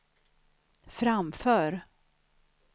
framför